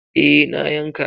Eh, na yanka.